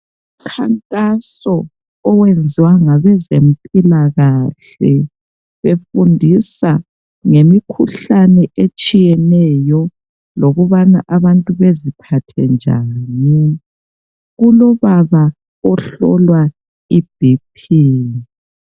Umkhankaso owenziwa ngabezempilakahle befundiswa ngemikhuhlane etshiyeneyo lokubana abantu beziphathe njani kulobaba ohlolwa iBP.